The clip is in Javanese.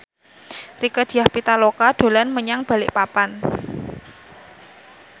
Rieke Diah Pitaloka dolan menyang Balikpapan